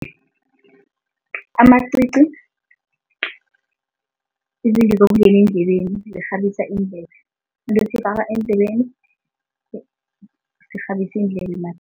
Amacici izinto zokungena endlebeni, zikghabisa iindlebe. Into esiyifaka endlebeni ekghabisa iindlebe